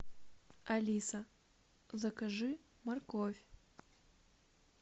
алиса закажи морковь